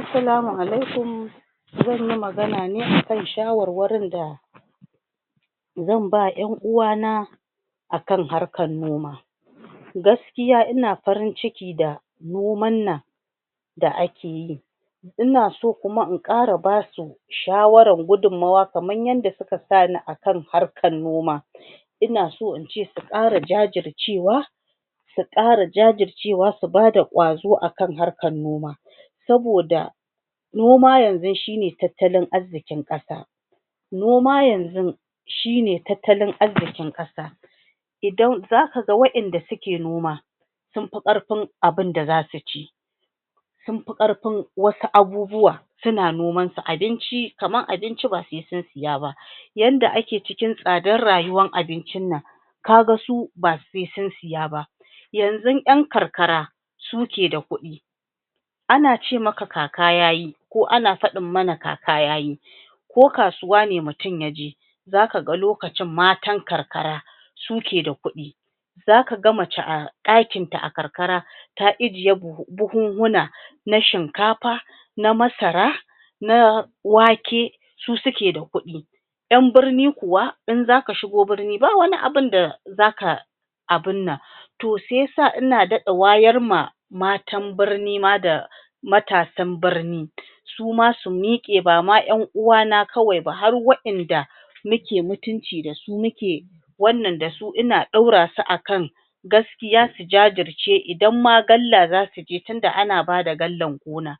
Assalamu alaikum! zan yi magana ne a kan shawarwarin da zan ba wa ƴan'uwana a kan harkar noma Gaskiya ina farin ciki na noman nan da ake yi ina so kuma in ƙara ba su shawarar gudunmawa kamar yadda suka sa ni a kan harkar noma ina so in ce su ƙara jajircewa su ƙara jajircewa, su ba da ƙwazo a kan harkar noma saboda noma yanzun shi ne tattalin arzikin ƙasa Noma yanzun shi ne tattalin arzikin ƙasa Idan za ka ga waɗanda suke noma sun fi ƙarfi abin da za su ci sun fi ƙarfin wasu abubuwa, suna nomansu--abinci, kamar abinci ba sai sun saya ba yanda ake cikin tsadar rayuwar abincin nan, ka ga su ba sai sun saya ba Yanzun ƴn karkara su ke da kuɗi Ana ce maka kaka ya yi ko ana faɗin mana kaka ya yi ko kasuwa ne mutum ne ya je za ka ga lokacin matan karkara su ke da kuɗi Za ka ga mace a ɗakinta a karkara ta ajiye buhunhuna na shinkafa, na masara, na wake, su suke da kuɗi ƴan birni kuwa in aka shigo birni ba wani abun da za ka abin nan To sai ya sa ina daɗa wayar ma matan birni ma da matasan birni su ma su miƙe ba wai ƴn uwana kawai ba, har waɗanda muke mutunci da su, muke wannan da su ina ɗaura su a kan gaskiya su jajice. Idan ma galla za su je tun da ana ba da gallan gona